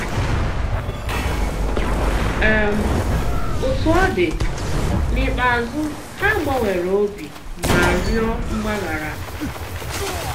um Òtú ọ dị, n'íkpéazụ, ha gbànwèrè obi ma rịọ mgbaghara.